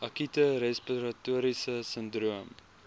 akute respiratoriese sindroom